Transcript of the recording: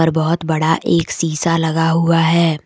बहोत बड़ा एक शीशा लगा हुआ है।